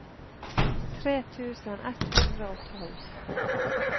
tre tusen ett hundre og tolv